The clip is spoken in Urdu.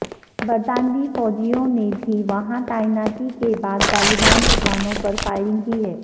برطانوی فوجیوں نے بھی وہاں تعیناتی کے بعد طالبان ٹھکانوں پر فائرنگ کی ہے